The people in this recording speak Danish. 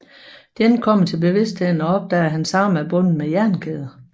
Jin kommer til bevidstheden og opdager at hans arme er bundet med jernkæder